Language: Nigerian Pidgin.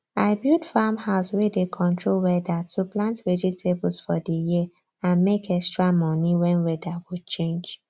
i build farm house wey dey control weather to plant vegetables for di year and make extra money wen weather go change